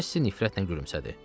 Kassi nifrətlə gülümsədi.